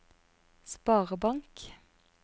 sparebank